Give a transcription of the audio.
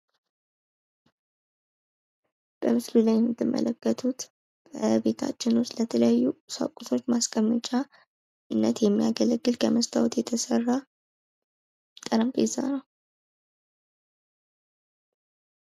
በምስሉ ላይ የምትመለከቱት በቤታችን ውስጥ ለተለያዩ ቁሳቁሶች ማስቀመጫነት የሚያገለግል ከመስታወት የተሰራ ጠረጴዛ ነው።